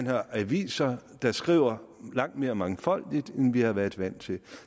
har aviser der skriver langt mere mangfoldigt end vi har været vant til